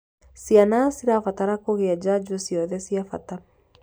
Ciana cirabatara kugĩa njanjo ciothe cĩa bata